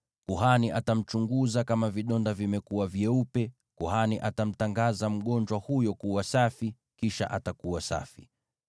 Kuhani atamchunguza, na kama vidonda vimekuwa vyeupe, kuhani atamtangaza mgonjwa huyo kuwa safi; kisha atakuwa safi.